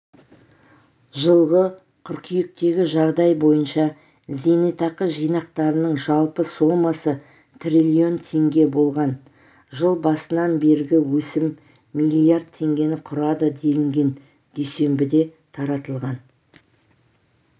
жылғы қыркүйектегі жағдай бойынша зейнетақы жинақтарының жалпы сомасы трлн теңге болған жыл басынан бергі өсім млрд теңгені құрады делінген дүйсенбіде таратылған